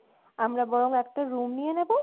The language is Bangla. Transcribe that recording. আমরা বরং একটা room নিয়ে নেবো